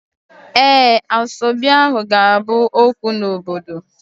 Ee, asoebi ahu ga-abu okwu n'obodo